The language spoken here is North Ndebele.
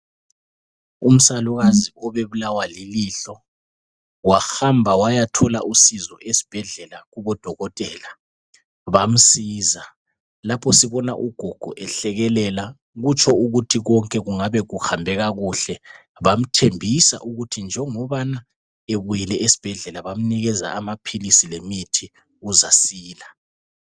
Umsalukazi obebulawa lilihlo wahamba wayathola usizo esibhedlela kubodokotela bamsiza .Lapho sibona ugogo ehlekelela kutsho ukuthi konke kungabe kuhambe kakuhle bamthembisa ukuthi njengobana ebuyile esibhedlela bamnikeza amaphilisi lemithi uzasila.